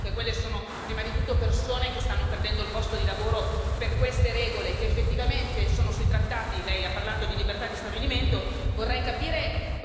Vorrei che si rendesse conto che quelle sono prima di tutto persone che stanno perdendo il posto di lavoro per queste regole, che effettivamente sono sui trattati Lei ha parlato di libertà di stabilimento.